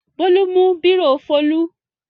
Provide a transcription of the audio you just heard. Bólú mú bírò Folú.